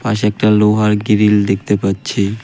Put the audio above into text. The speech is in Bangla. পাশে একটা লোহার গিরিল দেখতে পাচ্ছি .